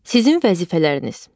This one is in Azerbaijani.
Sizin vəzifələriniz.